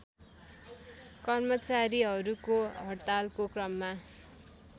कर्मचारीहरूको हडतालको क्रममा